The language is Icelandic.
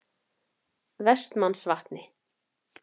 Vestmannsvatni